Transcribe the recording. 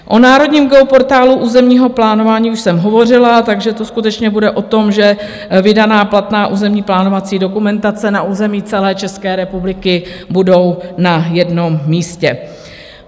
O Národním geoportálu územního plánování už jsem hovořila, takže to skutečně bude o tom, že vydaná platná územní plánovací dokumentace na území celé České republiky bude na jednom místě.